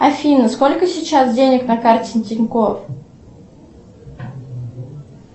афина сколько сейчас денег на карте тинькофф